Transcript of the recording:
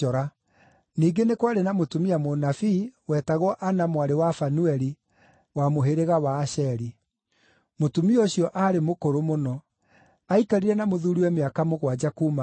Ningĩ nĩ kwarĩ na mũtumia mũnabii, wetagwo Anna mwarĩ wa Fanueli, wa mũhĩrĩga wa Asheri. Mũtumia ũcio aarĩ mũkũrũ mũno; aikarire na mũthuuriwe mĩaka mũgwanja kuuma ahika,